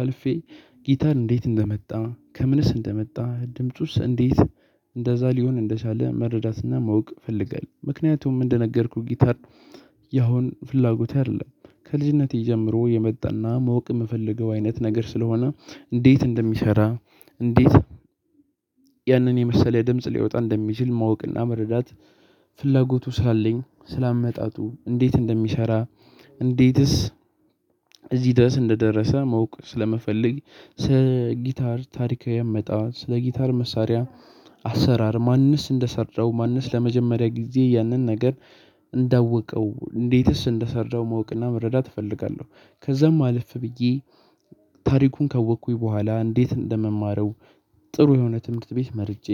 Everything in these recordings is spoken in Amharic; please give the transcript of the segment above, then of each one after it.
አልፌ ጊታር እንዴት እንደመ፤ ከምንስ እንደመጣ፤ ድምጹስ እንዴት እንደዛ ሊሆን እንደቻለ መረዳትና ማውቅ ፈልገል ምክንያቱም እንደነገርኩህ ጊታር ያሁን ፍላጎቴ አይደለም። ከልጅነቴ ጀምሮ የመጣና ማወቅ የምፈልገው አይነት ነገር ስለሆነ እንዴት እንደሚሰራ እንዴት ያንን የመሰለ ድምጽ ሊወጣ እንደሚችል ማወቅና መረዳት ፍላጎቱ ሳለኝ ስላመጣጡ እንዴት እንደሚሰራ እንዴትስ እዚህ ደስ እንደደረሰ መውቅ ስለመፈለግ ስለ ጊታር ታሪካዊ አመጣጥ ስለ ጊታር መሳሪያ አሰራር ማንንስ እንደሰራው ማንንስ ለመጀመሪያ ጊዜ ያንን ነገር እንዳወቀው እንዴትስ እንደሰራው ማወቅና መረዳት እፈልጋለሁ ከዛም አልፍ ብዬ ታሪኩን ከወቅኩኝ በኋላ እንዴት እንደምማረው ጥሩ የሆነ ትምህርት ቤት መርጬ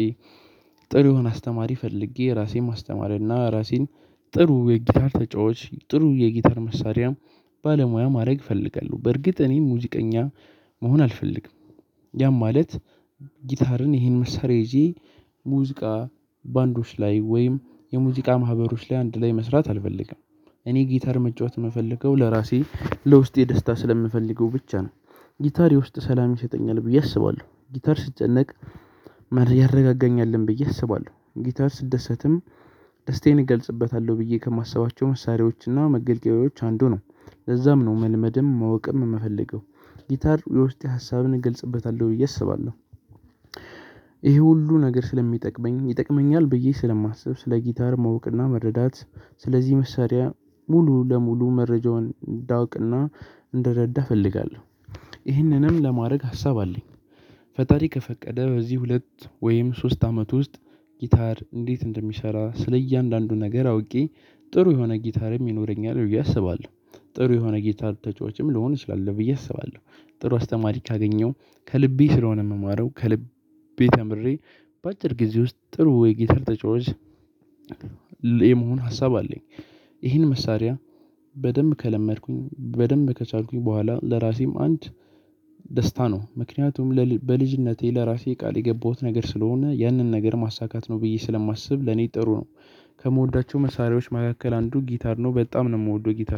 ጥሩ የሆነ አስተማሪ ፈልጌ፤ ራሴን ማስተማር እና ራሴን ጥሩ የጊታር ተጫዋች፤ ጥሩ የጊታር መሳሪያም ባለሙያ ማድረግ እፈልጋለሁ። በርግጥ እኔ ሙዚቀኛ መሆን አልፈልግም ያም ማለት ይሄን መሳሪያ ይዤ ሙዚቃ ባንዶች ላይ ወይም የሙዚቃ ማህበሮች ላይ አንድ ላይ መስራት አልፈልግም። እኔ ጊታር መጫወት የምፈልገው ለራሴ ለውስጤ ደስታ ስለምፈልገው ብቻ ነው። ጊታሪር የውስጥ ሰላም ይሰጠኛል ብዬ አስባለሁ። ጊታር ስጨነቅ ያረጋጋኛልን ብዬ አስባለ፤ ጊታር ስደሰትም ደስታዬን እገልጽበታለሁ ብዬ ከማሰባቸው መሳሪያዎችና መገልገያዎች አንዱ ነው። ነው መልመድም ማወቅም የምፈልገው። ጊታር የውስጤ ሀሳብን እገልጽበታለሁ ብዬ አስባለሁ ሁሉ ነገር ስለሚጠቅመኝ፤ ይጠቅመኛል ብዬ ስለማስብ፤ ስለ ጊታር መውቅና መረዳት፤ ስለዚህ መሳሪያ ሙሉ ለሙሉ መረጃውን እንዳውቅና እንደረዳህ እፈልጋለሁ። ይህንንም ለማድረግ ሀሳብ አለኝ። ፈጣሪ ከፈቀደ በዚህ ሁለት ወይም ሶስት አመት ውስጥ ጊታር እንዴት እንደሚሰራ ስለእያንዳንዱ ነገር አውቄ ጥሩ የሆነ ጊታርም ይኖረኛል እሰባለሁ። ጥሩ የሆነ ጌታ ተጫዋችም ልሆን እችላለሁ ብዬ አስባለሁ ጥሩ አስተማሪ ካገኘሁ ከልቤ ስለሆነ የምማረው ከልቤ ተምሬ በአጭር ጊዜ ውስጥ ጥሩ የጌታር ተጫዋች የመሆን ሀሳብ አለኝ። ይሄን መሳሪያ በደንብ ከለመድኩኝ በደንብ ከቻልኩኝ በኋላ ለራሴም አንድ ደስታ ነው ምክንያቱም በልጅነቴ ለራሴ ቃል የገባሁት ነገር ስለሆነ ያንን ነገር ማሳካት ነው ብዬ ስለማስብ ለኔ ጥሩ ነው። ከምወዳቸው መሳሪያዎች መካከል አንዱ ጊታር ነው። በጣም ነው የምወደው ጊታር